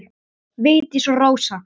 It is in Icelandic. Vigdís og Rósa.